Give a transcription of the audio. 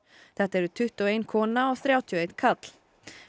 þetta eru tuttugu og ein kona og þrjátíu og einn karl